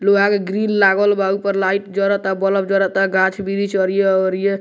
लोहा के ग्रिल लागल बा ऊपर लाइट जरता बल्ब जरता गाक्ष-बृक्ष अरिये-अरिये --